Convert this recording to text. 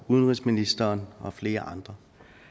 udenrigsministeren og flere andre